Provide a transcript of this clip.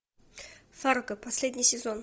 фарго последний сезон